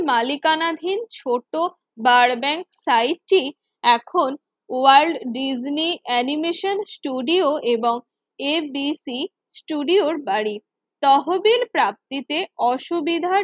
মালিকানাধীন ছোট বার ব্যাংক সাইটটি এখন ওয়ার্ল্ড ডিজনি অ্যানিমেশন ষ্টুডিও এবং ABC স্টুডিওর বাড়ি। তহবিল প্রাপ্তিতে অসুবিধার